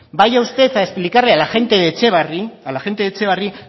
vaya usted a explicarle a la gente de etxebarri